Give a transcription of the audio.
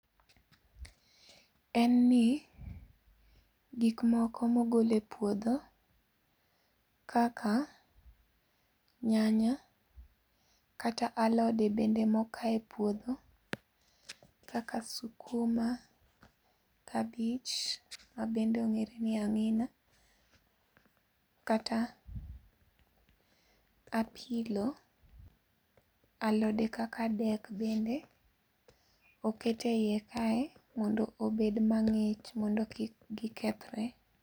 En ni, gik moko mogole puodho, kaka, nyanya, kata alode bende mokaye e puodho, kaka sukuma, kabich mabende ong'ere ni ang'ina. Kata apilo, alode kaka dek bende, oket e yie kae modno obed mang'ich mondo kik gikethre